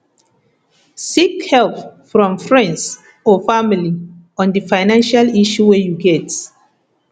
seek help from friends or family on di financial issue wey you get